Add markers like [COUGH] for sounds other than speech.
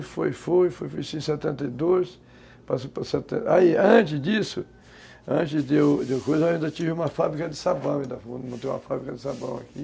E foi, foi, foi... Fiz setenta e dois... [UNINTELLIGIBLE] Aí, antes disso, antes de eu... [UNINTELLIGIBLE] Depois eu ainda tive uma fábrica de sabão, montei uma fábrica de sabão aqui.